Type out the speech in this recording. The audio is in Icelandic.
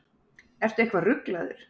Ertu eitthvað ruglaður?